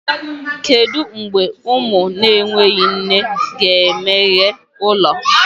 Kedu mgbe ụmụ na-enweghị nne ga-emeghe ụlọ?